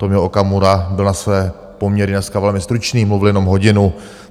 Tomio Okamura byl na své poměry dneska velmi stručný, mluvil jenom hodinu.